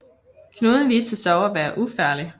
Knuden viste sig dog at være ufarlig